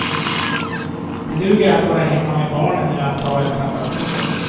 Det duger att vara hemma med barnen eller att ta ett sabbatsår.